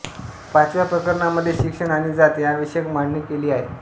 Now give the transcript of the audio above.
पाचव्या प्रकरणामध्ये शिक्षण आणि जात याविषयक मांडणी केली आहे